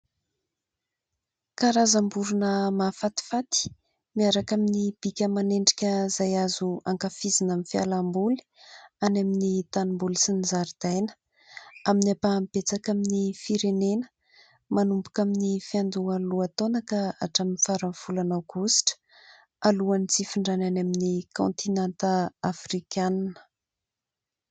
Karazam-borona mahafatifaty miaraka amin'ny bika aman'endrika izay azo ankafizina amin'ny fialam-boly any amin'ny tanim-boly sy ny zaridaina. Amin'ny ampahany betsaka amin'ny firenena, manomboka amin'ny fiandohan'ny lohataona ka hatramin'ny faran'ny volana aogositra, alohan'ny tsy hifindrany any amin'ny kôntinanta afrikanina.